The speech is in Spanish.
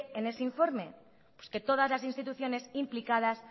en ese informe pues que todas las instituciones implicadas